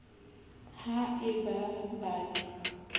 ha e ba ba ne